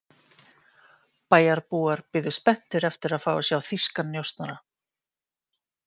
Bæjarbúar biðu spenntir eftir að fá að sjá þýskan njósnara.